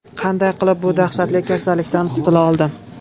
Qanday qilib bu dahshatli kasallikdan qutula oldim?.